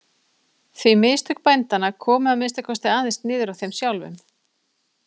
Því mistök bændanna komu að minnsta kosti aðeins niður á þeim sjálfum.